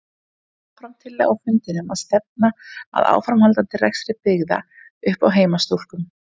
Kom fram tillaga á fundinum að stefna að áframhaldandi rekstri byggða upp á heimastúlkum.